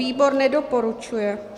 Výbor nedoporučuje.